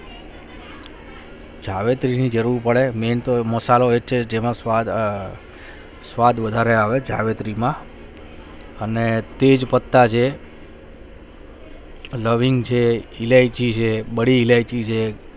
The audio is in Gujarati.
જાવેતરી ની જરૂરત પડે main તો મસાલા ના એમાં સ્વાદ સ્વાદ વધારે આવે જાવેતરી માં અને તેજ પત્તા છે લવિંગ છે ઈલાયચી છે બાળી ઈલાયચી છે